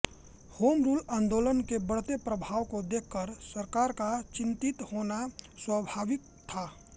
Home Rule आन्दोलन के बढ़ते प्रभाव को देखकर सरकार का चिंतित होना स्वाभाविक था